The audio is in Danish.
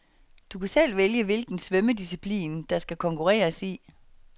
Du kan selv vælge hvilken svømmedisciplin, der skal konkurreres i.